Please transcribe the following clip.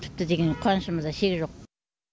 тіпті деген қуанышымызда шек жоқ